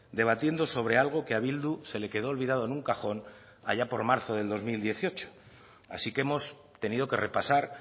debatiendo sobre algo que a bildu se le quedo olvidado en un cajón allá por marzo de dos mil dieciocho así que hemos tenido que repasar